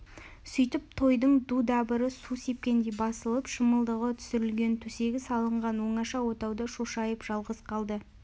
сөйтіп тойдың ду-дабыры су сепкендей басылып шымылдығы түсірілген төсегі салынған оңаша отауда шошайып жалғыз қалды